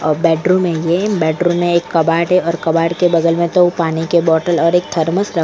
अ bedroom हुई है ये बेडरूम में एक कबाड़ है और कबाड़ के बगल में दो पानी के बोटल और एक थर्मस रख --